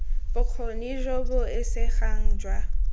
bokgoni jo bo isegang jwa